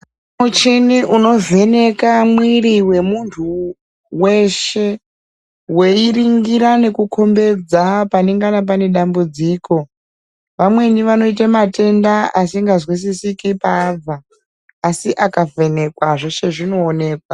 Muchini unovheneka mwiri wemuntu weshe. Weiringira nekukombedza panengana pane dambudziko. Vamweni vanoite matenda asingazwisisiki paabva asi akavhenekwa zveshe zvinooneka.